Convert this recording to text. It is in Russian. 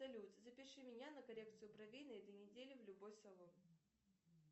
салют запиши меня на коррекцию бровей на этой неделе в любой салон